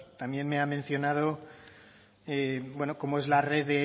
también me ha mencionado cómo es la red